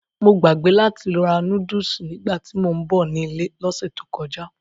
Mo gbàgbé láti ra núdùsù nígbàtí mò ń bọ̀ nílé lọ́sẹ̀ tó kọjá.